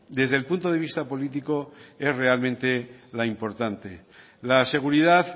desde el punto de vista político es realmente la importante la seguridad